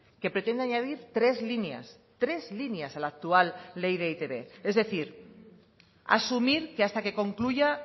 que pretende añadir tres líneas tres líneas a la actual ley de e i te be es decir asumir que hasta que concluya